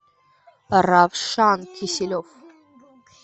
равшан киселев